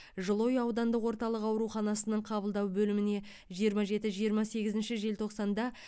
жылыой аудандық орталық ауруханасының қабылдау бөліміне жиырма жеті жиырма сегізінші желтоқсанда